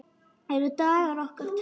Eru dagar okkar taldir?